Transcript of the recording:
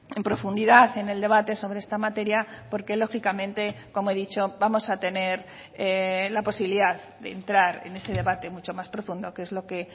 en profundidad en el debate sobre esta materia porque lógicamente como he dicho vamos a tener la posibilidad de entrar en ese debate mucho más profundo que es lo que